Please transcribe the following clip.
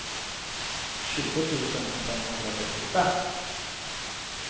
tjugo tusen femhundratrettiofem